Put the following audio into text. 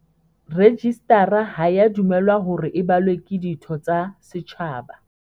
Rejistara ha ea dumellwa hore e balwe ke ditho tsa setjhaba.